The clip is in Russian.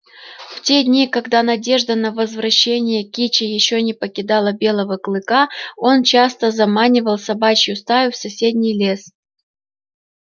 в те дни когда надежда на возвращение кичи ещё не покидала белого клыка он часто заманивал собачью стаю в соседний лес